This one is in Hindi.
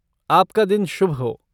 आपका दिन शुभ हो!